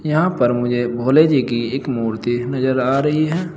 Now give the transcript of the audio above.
यहां पर मुझे भोले जी की एक मूर्ति नजर आ रही है।